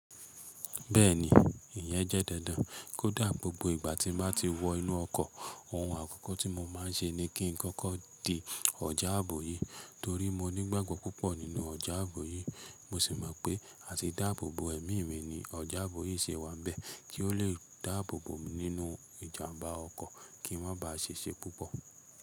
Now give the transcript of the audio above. Bẹ́ẹ̀ni ìyẹ́ jẹ́ dandan, kò dáà, gbogbo ìgbà tí mo bá ti wọ inú ọkọ̀, ohun àkókò tí mo máa ń ṣe ni kí n kọ́kọ́ di ọ̀já àbò yí, torí mo ní gbàgbọ́ púpọ̀ nínú ọ̀jà àbò yí, mo sì mọ̀ pé a ti dáàbòbò ẹ̀mí mi ni ọ̀jà àbò yìí ṣe wà bẹ́ẹ̀ kí ó lè dáàbòbò mi nínú ìjàm̀bá ọkọ̀ kí ń máa bá àṣiṣé púpọ̀.